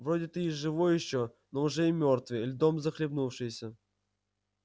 вроде ты и живой ещё но уже и мёртвый льдом захлебнувшийся